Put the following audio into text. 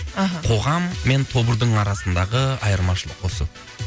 аха қоғам мен тобырдың арасындағы айырмашылық осы